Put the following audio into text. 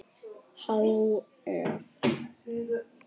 Há eff.